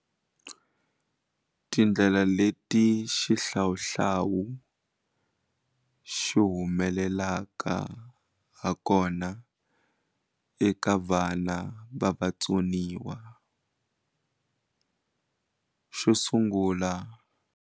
Tindlela leti xihlawuhlawu xi humelelaka ha kona eka vana va vatsoniwa xo sungula.